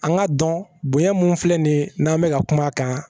An ka dɔn bonya mun filɛ nin ye n'an bɛ ka kuma a kan